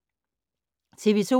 TV 2